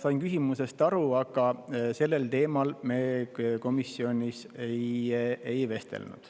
Sain küsimusest aru, aga sellel teemal me komisjonis ei vestelnud.